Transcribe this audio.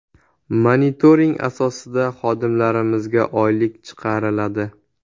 Monitoring asosida xodimlarimizga oylik chiqiriladi.